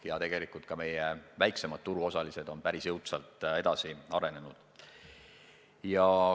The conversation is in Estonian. Ja tegelikult ka meie väiksemad turuosalised on päris jõudsalt edasi arenenud.